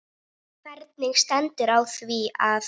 Hvernig stendur á því að